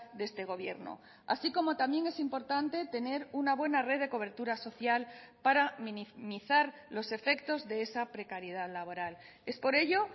de este gobierno así como también es importante tener una buena red de cobertura social para minimizar los efectos de esa precariedad laboral es por ello